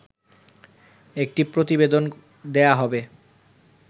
একটি প্রতিবেদন দেয়া হবে